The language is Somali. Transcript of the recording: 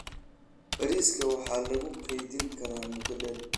Bariiska waxaa lagu kaydin karaa muddo dheer.